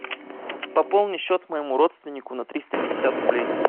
пополни счет моему родственнику на триста пятьдесят рублей